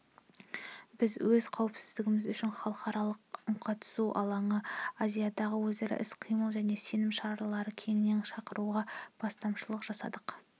біз өз қауіпсіздігіміз үшін халықаралық үнқатысу алаңы азиядағы өзара іс-қимыл және сенім шаралары кеңесін шақыруға бастамашылық жасадық